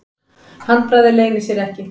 Handbragðið leynir sér ekki.